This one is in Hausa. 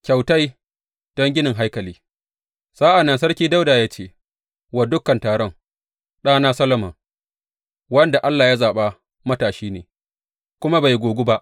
Kyautai don ginin haikali Sa’an nan Sarki Dawuda ya ce wa dukan taron, Ɗana Solomon, wanda Allah ya zaɓa, matashi ne, kuma bai gogu ba.